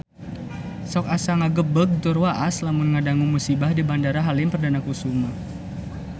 Sok asa ngagebeg tur waas lamun ngadangu musibah di Bandara Halim Perdana Kusuma